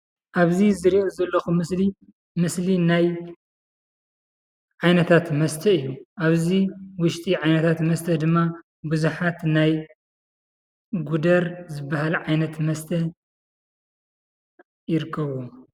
ኣብዚ ዝርእዮ ዘለኩ ምስሊ ምስሊ ናይ ዓይነታት ምስተ እዩ፡፡ ኣብዚ ዉሽጢ ዓይነታት መስተ ድማ ብዙሓት ናይ ጉደር ዝብሃል ዓይነተ መሰተ ይርከብዎ፡፡